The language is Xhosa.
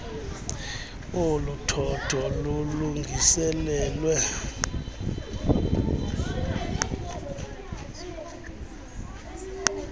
olu thotho lulungiselelwe